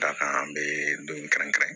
Da kan an bɛ don in kɛrɛnkɛrɛn